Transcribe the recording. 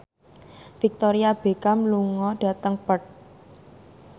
Victoria Beckham lunga dhateng Perth